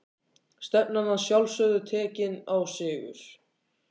Stefnan að sjálfsögðu tekinn á sigur?